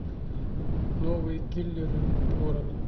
новые киллеры города